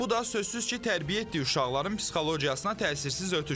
Bu da sözsüz ki, tərbiyə etdiyi uşaqların psixologiyasına təsirsiz ötüşmür.